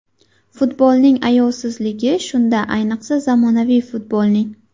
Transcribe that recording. Futbolning ayovsizligi shunda, ayniqsa zamonaviy futbolning.